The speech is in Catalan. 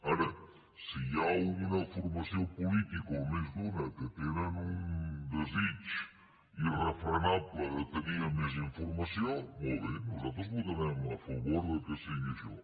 ara si hi ha una formació política o més d’una que tenen un desig irrefrenable de tenir més informació molt bé nosaltres votarem a favor que sigui això